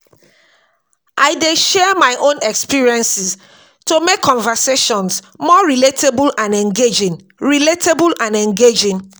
I dey share my own experiences to make conversations more relatable and engaging. relatable and engaging.